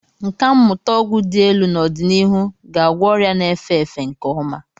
Nkà mmụta ọgwụ dị elu n'ọdịnihu ga-agwọ ọrịa na-efe efe nke ọma.